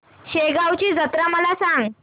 शेगांवची जत्रा मला सांग